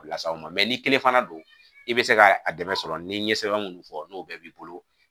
Las'aw ma ni kelen fana don i be se ka a dɛmɛ sɔrɔ ni n ye sɛbɛn munnu fɔ n'o bɛɛ b'i bolo